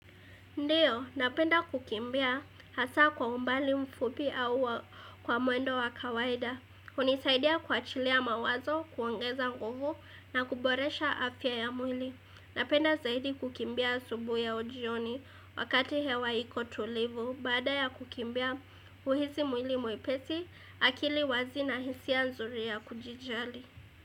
Ndiyo, napenda kukimbia hasaa kwa umbali mfupi au wa kwa mwendo wa kawaida. Unisaidia kuwachilia mawazo, kuongeza nguvu na kuboresha afya ya mwili. Napenda zaidi kukimbia asubuhi au jioni wakati hewa iko tulivu. Baada ya kukimbia uhisi mwili mwepesi, akili wazi na hisia nzuri ya kujijali.